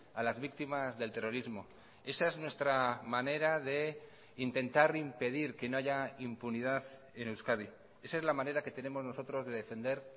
a las víctimas del terrorismo esa es nuestra manera de intentar impedir que no haya impunidad en euskadi esa es la manera que tenemos nosotros de defender